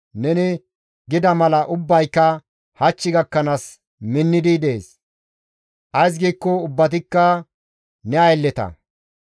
Neni gida mala ubbayka hach gakkanaas minnidi dees; ays giikko ubbatikka ne aylleta.